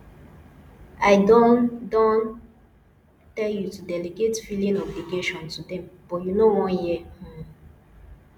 i don don tell you to delegate filing obligation to dem but you no wan hear um